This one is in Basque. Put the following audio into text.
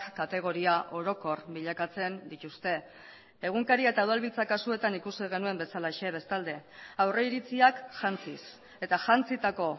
kategoria orokor bilakatzen dituzte egunkaria eta udalbiltza kasuetan ikusi genuen bezalaxe bestalde aurriritziak jantziz eta jantzitako